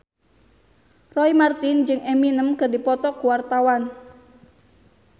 Roy Marten jeung Eminem keur dipoto ku wartawan